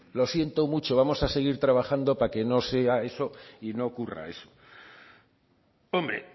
lo siento mucho vamos a seguir trabajando para que no sea eso y no ocurra eso hombre